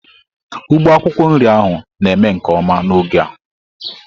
Ugbo akwukwo nri ahu na-eme nke oma n'oge a.